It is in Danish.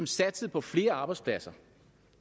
satsning på flere arbejdspladser